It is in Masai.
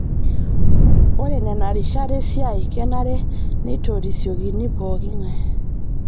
Ore nena rishat esiai kenare nitorisiokini pooki ng'ae